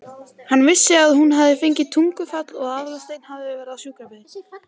Hann vissi að hún hafði fengið taugaáfall og að Aðalsteinn hafði verið við sjúkrabeðinn.